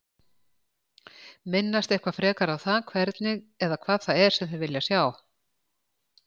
Minnast eitthvað frekar á það hvernig eða hvað það er sem þeir vilja sjá?